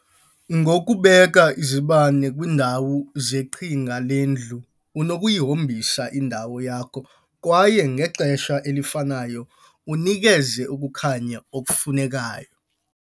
Ngokubeka izibane kwiindawo zeqhinga lendlu, unokuyihombisa indawo yakho kwaye ngexesha elifanayo unikeze ukukhanya okufunekayo.